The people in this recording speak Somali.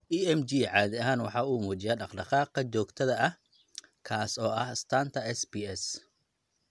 EMG caadi ahaan waxa uu muujiyaa dhaqdhaqaaqa dhaqdhaqaaqa joogtada ah, kaas oo ah astaanta SPS.